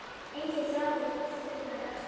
Enginn þráður þurr í dag.